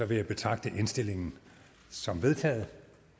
vil jeg betragte indstillingen som vedtaget